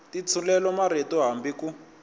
ti tshulela marito hambi ku